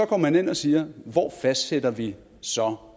går man ind og siger hvor fastsætter vi så